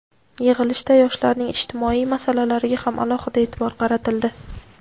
Yig‘ilishda yoshlarning ijtimoiy masalalariga ham alohida e’tibor qaratildi.